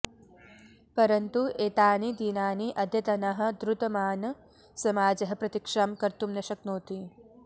परन्तु एतानि दिनानि अद्यतनः द्रुतमान् समाजः प्रतीक्षां कर्तुं न शक्नोति